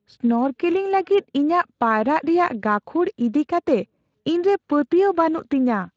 snorkelling ᱞᱟᱹᱜᱤᱫ ᱤᱧᱟᱹᱜ ᱯᱟᱭᱨᱟᱜ ᱨᱮᱭᱟᱜ ᱜᱟᱹᱠᱷᱩᱲ ᱤᱫᱤ ᱠᱟᱛᱮ ᱤᱧᱨᱮ ᱯᱟᱹᱛᱭᱟᱹᱣ ᱵᱟᱹᱱᱩᱜ ᱛᱤᱧᱟᱹ